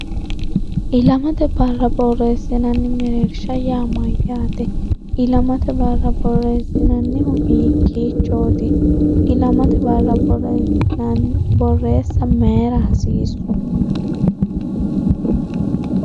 ilamate barra borreessinanni mereershsha yaa mayyaate? ilamate barra borreessinannihu hiikkiichooti? ilamate barra borreessa mayira hasiissu?